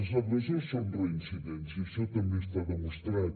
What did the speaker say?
els agressors són reincidents i això també està demostrat